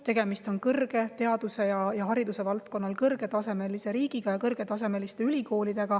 Tegemist on riigiga, kus teaduse ja hariduse tase on kõrge, ja ülikoolidega, mille tase on kõrge.